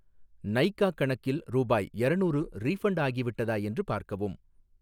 நைகா கணக்கில் ரூபாய் யரநூறு ரீஃபண்ட் ஆகிவிட்டதா என்று பார்க்கவும்!